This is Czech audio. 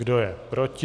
Kdo je proti?